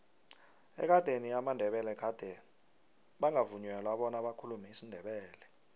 ekadeni amandebele gade bangavunyelwa bona bakhulume isindebele